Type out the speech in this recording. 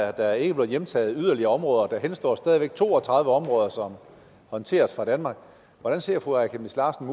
er der ikke blevet hjemtaget yderligere områder og der henstår stadig væk to og tredive områder som håndteres fra danmark hvordan ser fru aaja chemnitz larsen